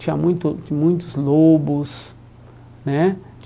Tinha muito muitos lobos, né?